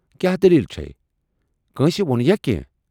کیاہ دٔلیل چھے؟ کٲنسہِ وونیا کینہہ؟